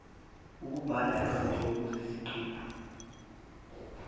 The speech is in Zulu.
ukubhala izinhlobo zeziqephu